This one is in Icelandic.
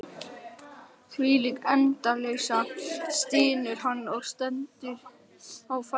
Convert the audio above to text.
Þvílík endaleysa, stynur hann og stendur á fætur.